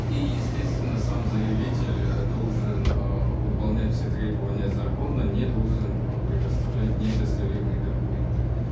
и естественно сам заявитель э должен э выполнять все требования закона не должен э предоставлять недостоверные документы